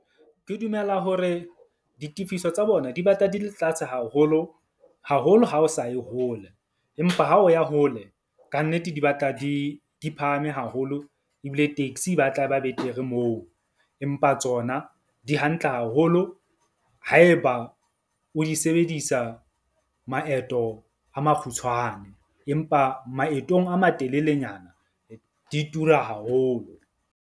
Ke dumela hore ditefiso tsa bona di batla di le tlase haholo. Haholo ha o sa ye hole empa ha o ya hole kannete di batla di phahame haholo. Ebile taxi e batla e ba betere moo. Empa tsona di hantle haholo haeba o di sebedisa maeto a makgutshwane. Empa maetong a matelelenyana di tura haholo.